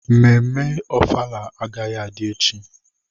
Mmemme ofala agaghị adị echi.